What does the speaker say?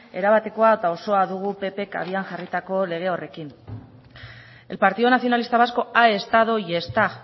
erabatekoa eta osoa dugu ppek abian jarritako lege horrekin el partido nacionalista vasco ha estado y está